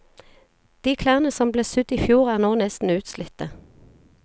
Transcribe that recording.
De klærne som ble sydd ifjor er nå nesten utslitte.